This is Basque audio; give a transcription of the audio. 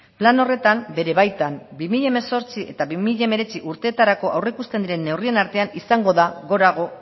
plan horretan bere baitan bi mila hemezortzi eta bi mila hemeretzi urteetarako aurreikusten diren neurrien artean izango da gorago